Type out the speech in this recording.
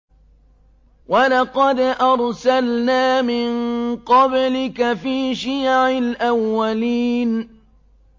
وَلَقَدْ أَرْسَلْنَا مِن قَبْلِكَ فِي شِيَعِ الْأَوَّلِينَ